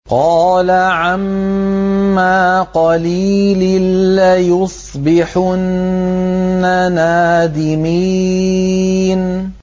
قَالَ عَمَّا قَلِيلٍ لَّيُصْبِحُنَّ نَادِمِينَ